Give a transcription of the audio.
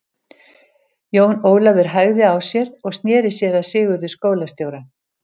Jón Ólafur hægði á sér og sneri sér að Sigurði skólastjóra.